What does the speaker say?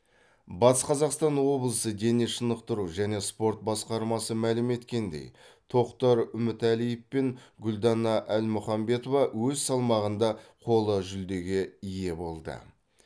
батыс қазақстан облысы дене шынықтыру және спорт басқармасы мәлім еткендей тоқтар үмітәлиев пен гүлдана әлмұханбетова өз салмағында қола жүлдеге ие болды